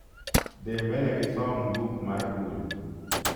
dhi mbele gi som buk mar duol